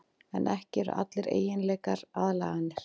En ekki eru allir eiginleikar aðlaganir.